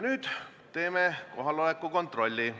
Nüüd teeme kohaloleku kontrolli.